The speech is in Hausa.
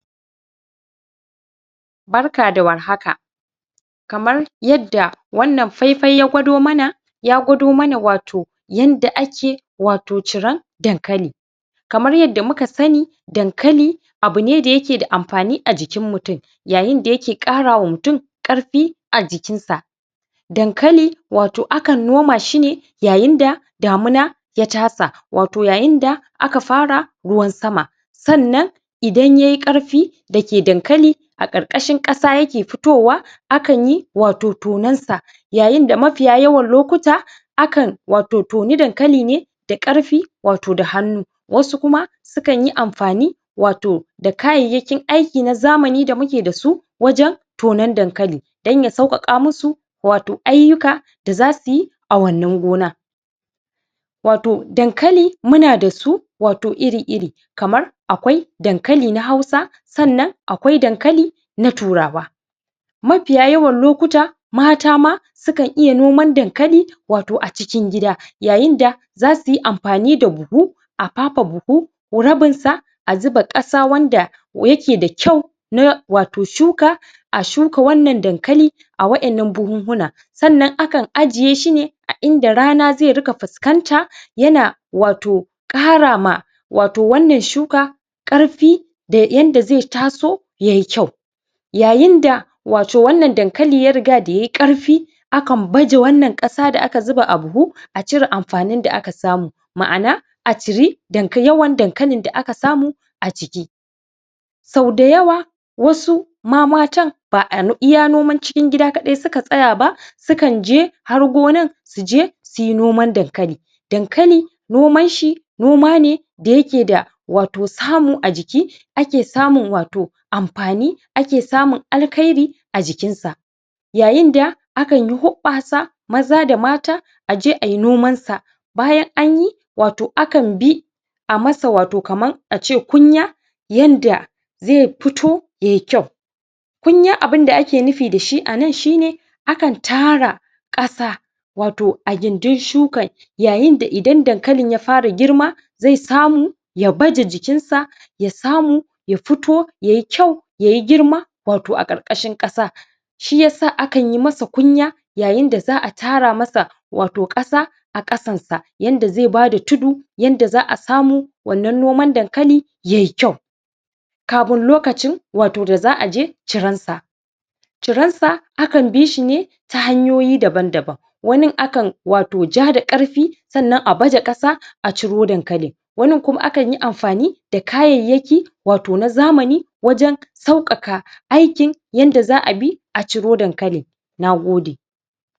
Barka da warhaka kamar yadda wannan faifai ya gwado mana ya gwado mana wato yanda ake wato ciran dankali kamar yanda muka sani wato dankali abune da yake da amfani a jikin mutum yayinda yake ƙara wa mutum ƙarfi a jikinsa dankali wato akan nomashi ne yayinda damuna ya tasa wato yayinda aka fara ruwan sama sannan idan yayi ƙarfi dake dankali a ƙarƙashin ƙasa yake fitowa akan yi wato tonan sa yayinda mafiya yawan lokuta akan wato toni dankali ne da ƙarfi wato da hannu wasu kuma sukanyi amfani wato da kayyakin aiki na zamani da muke dasu wajen tonan dankali don ya saukaka musu wato ayyuka da zasuyi a wannan gona wato dankali muna da su wato iri-iri kamar akwai dankali na hausa sannan akwai dankali na turawa mafiya yawan lokuta mata ma sukan iya noman dankali acikin gida yayinda zasuyi amfani da buhu a fafe buhu rabinsa a zuba kasa wanda yake da kyau na wato shuka a shuka wannan dankali a wayannan buhuhuna sannan akan ajiyeshi ne a inda rana zai riƙa fuskanta yana wato ƙara ma wato wannan shuka ƙarfi da yanda zai taso yayi kyau yayinda wato wannan dankali ya riga da yayi ƙarfi akan baje wannan ƙasa da aka zuba a buhu a cire amfanin da aka samu ma'ana aciri dankalin da yawan dankalin da aka samu aciki sau da yawa wasu ma matan ba a iya noman cikin gida suka tsaya ba sukan je har gonan suje suyi noman dankali dankali noman shi noma ne da yake da wato samu ajiki ake samun wato amfani ake samun alkahiri a jikinsa yayinda akanyi huɓɓasa maza da mata aje ayi noman sa bayan anyi wato akanbi amasa wato kaman ace kunya yanda zai fito yayi kyau kunya abun da ake nufi da shi anan shine akan tara ƙasa wato a gindin shukan yayinda idan dankalin ya fara girma zai samu ya baje jikinsa ya samu ya fito yayi kyau yayi girma wato a ƙarƙashin ƙasa shiyasa akan yi masa kunya yayin da za'a tara masa wato ƙasa a ƙasansa yanda zai bada tudu yanda za'a samu wannan noman dankali yayi kyau kafun lokacin da za'a je ciransa ciransa akan bishi ne ta hanyoyi daban-daban wanin wato akan ja da karfi sannan wato a baza kasa aciro dankalin wanin kuma kan yi da kayayyaki wato na zamani wajen sauƙaƙa aikin yanda za'a bi a ciro dankalin nagode